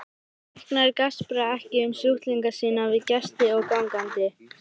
Læknar gaspra ekki um sjúklinga sína við gesti og gangandi.